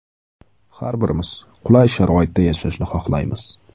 Har birimiz qulay sharoitda yashashni xohlaymiz.